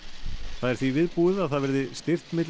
það er því viðbúið að það verði stirt milli